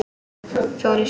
Fór í sjó.